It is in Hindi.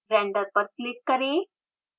render पर क्लिक करें